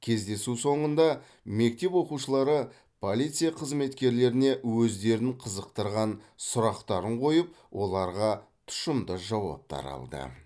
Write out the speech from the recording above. кездесу соңында мектеп оқушылары полиция қызметкерлеріне өздерін қызықтырған сұрақтарын қойып оларға тұщымды жауаптар алды